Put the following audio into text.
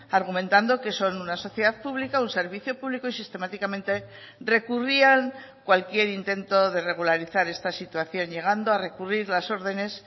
argumentando que son una sociedad pública un servicio público y sistemáticamente recurrían cualquier intento de regularizar esta situación llegando a recurrir las ordenes